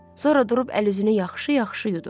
Sonra durub əl-üzünü yaxşı-yaxşı yudu.